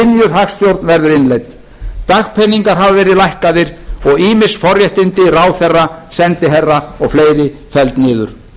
hagstjórn verður innleidd dagpeningar hafa verið lækkaðir og ýmis forréttindi ráðherra sendiherra og fleiri felld niður